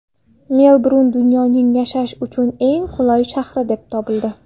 Melburn dunyoning yashash uchun eng qulay shahri deb topildi.